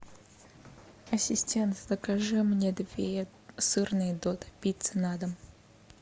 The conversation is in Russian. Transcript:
асистент закажи мне две сырные додо пиццы на дом